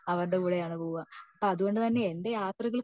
അവരുടെ കൂടെ ആണ് പോവാ അത്കൊണ്ട് തന്നെ എന്റെ യാത്രകൾ